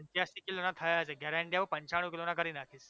પંચ્યાશી કિલોના થયા છો ઘરે આઈને જાવ પંચાણુ કિલોના કરી નાખીશ